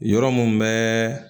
Yɔrɔ mun bɛ